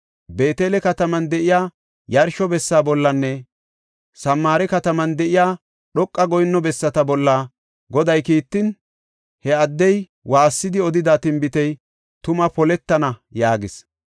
Beetele kataman de7iya yarsho bessa bollanne Samaare kataman de7iya dhoqa goyinno bessata bolla Goday kiittin, he addey waassidi odida tinbitey tuma poletana” yaagis.